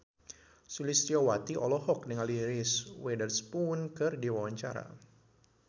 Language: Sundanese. Sulistyowati olohok ningali Reese Witherspoon keur diwawancara